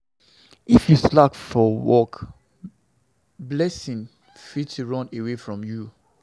If you slack for work, blessing fit run away from you.